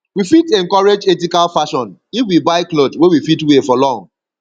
we fit encourage ethical fashion if we buy cloth wey we fit wear for long